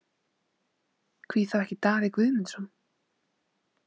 Hví þá ekki Daði Guðmundsson?